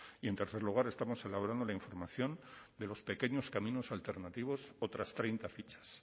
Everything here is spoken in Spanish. y en tercer lugar estamos elaborando la información de los pequeños caminos alternativos otras treinta fichas